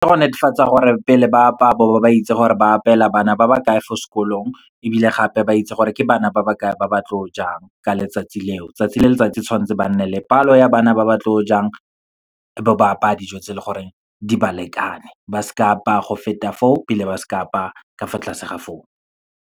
Ke go netefatsa gore, pele ba apaya ba bo ba itse gore ba apeela bana ba ba kae fo sekolong, ebile gape ba itse gore ke bana ba ba kae ba ba tlo jang, ka letsatsi leo. Tsatsi le letsatsi tshwantse ba nne le palo ya bana ba ba tlo jang, bo ba apaya dijo tse leng gore di ba lekane, ba seke ba apa go feta foo, ebile ba seke apaya ka fa tlase ga foo.